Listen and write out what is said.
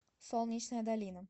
солнечная долина